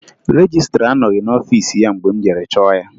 Rejistra anọghị n'ọfiisi ya mgbe m jere chọọ ya